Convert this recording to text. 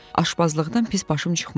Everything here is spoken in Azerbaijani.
Aşbazlıqdan pis başım çıxmırdı.